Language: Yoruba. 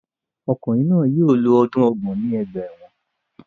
Ọkunrin náà yóò lo ọdun ọgbọ̀n ni ọgba ẹ́wọ̀n